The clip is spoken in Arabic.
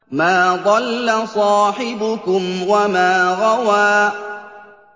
مَا ضَلَّ صَاحِبُكُمْ وَمَا غَوَىٰ